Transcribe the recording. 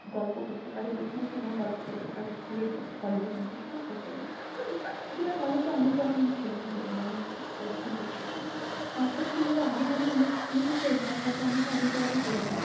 গল্প করতে পারে। যেখানে সেখানে গল্প করতে পারে school এর মধ্যে college এর মধ্যে। সেটা আবার যেটা college এ অনেক রকম ছেলে থাকে পছন্দ ছিল না। তারপর কি হলো? অনেকে অনেক আমার school friend রা হয়তো অনেকে অনেক জায়গায় চলে গেলো।